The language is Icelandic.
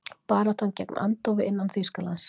Barátta gegn andófi innan Þýskalands